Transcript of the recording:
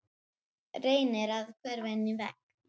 Ég held að Guðbergur Bergsson sé stundum með þeim.